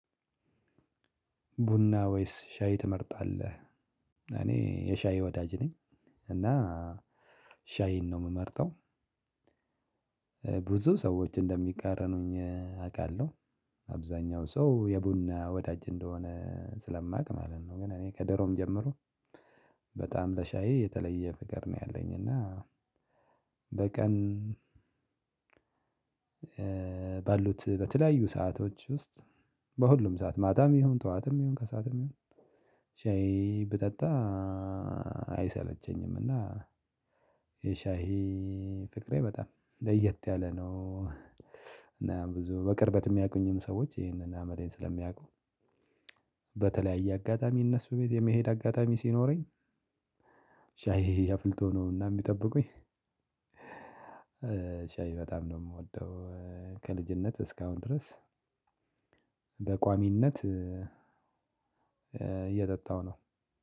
ቡና ወይስ ሻይ ትመርጣለህ? እኔ የሻይ ወዳጅ ነኝ። እና ሻይን ነው የምመርጠው። ብዙ ሰዎች እንደሚቃረኑኝ አውቃለሁ። አብዛኛው ሰው የቡና ወዳጅ እንደሆነ ስለማውቅ ማለት ነው። ግን እኔ ከደሮም ጀምሮ በጣም ለሻይ የተለየ ፍቅር ነው ያለኝ። እና በቀን ባልሁት በተለያዩ ሰአቶች ውስጥ በሁሉም ሰዓት ማታም ይሁን ጠዋትም ይሁን ከሰአትም ይሁን ሻይ ብጠጣ አይሰለቸኝምና። የሻይ ፍቅሬ በጣም ለየት ያለ ነው። እና ብዙ በቅርበት የሚያውቁኝም ሰዎች ይሄንን አመሌን ስለሚያውቁ በተለያየ አጋጣሚ እነሱ ቤት የመሄድ አጋጣሚ ሲኖረኝ። ሻይ አፍልተው ነው እና የሚጠብቁኝ። ሻይ በጣም ነው የምወደው። ከልጅነት እስካሁን ድረስ በቋሚነት እየጠጣሁ ነው።